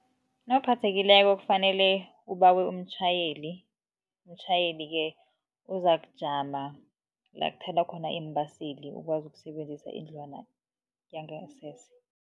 Nawuphathekileko kufanele ubawe umtjhayeli, umtjhayeli-ke uzakujama la kuthelwa khona iimbaseli ukwazi ukusebenzisa indlwana yangasese.